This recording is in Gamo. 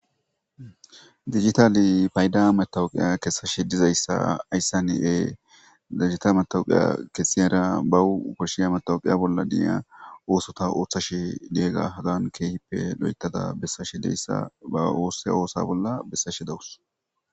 Dijitale paydda matawuke kesashe diza issi ha issan kesiyara bawu koshiya matawukiya bolla diya osata otashe diyagan keehippe loyitada be'asashe diyaga issa bawu ba bolla besashe dawusu